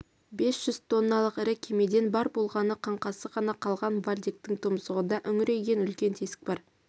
бес жүз тонналық ірі кемеден бар болғаны қаңқасы ғана қалған вальдектің тұмсығында үңірейген үлкен тесік бар